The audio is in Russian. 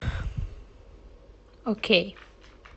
окей